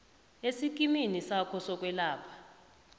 esikimini sakho sokwelapha